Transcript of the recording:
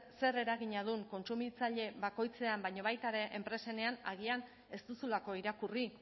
zer eragina duen kontsumitzaile bakoitzean baina baita ere enpresenean agian ez duzulako irakurri